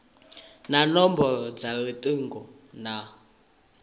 na nomboro dza lutingo na